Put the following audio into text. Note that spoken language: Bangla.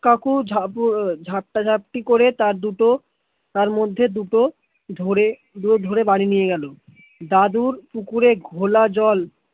কাকু ঝাঁপ ঝাপটা করে তার দুটো তার মধ্যে দুটো ধরে বাড়ি নিয়ে গেল, দাদুর পুকুর এ গোলা জল